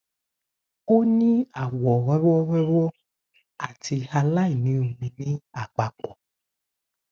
o ni awọ rọwọ rọwọ ati aláìní omi ni apapọ